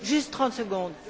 Juste trente secondes...